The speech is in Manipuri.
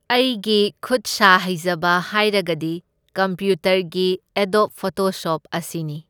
ꯑꯩꯒꯤ ꯈꯨꯠꯁꯥ ꯍꯩꯖꯕ ꯍꯥꯏꯔꯒꯗꯤ ꯀꯝꯄ꯭ꯌꯨꯇꯔꯒꯤ ꯑꯦꯗꯣꯞ ꯐꯣꯇꯣꯁꯣꯞ ꯑꯁꯤꯅꯤ꯫